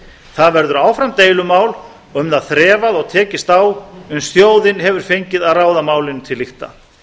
það verður áfram deilumál og um það þrefað og tekist á uns þjóðin hefur fengið að ráða málinu til lykta